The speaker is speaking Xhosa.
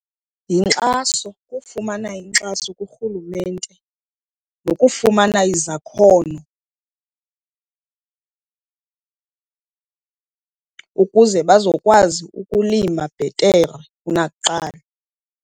Yinkxaso, kufumana inkxaso kurhulumente nokufumana izakhono ukuze bazokwazi ukulima bhetere kunakuqala.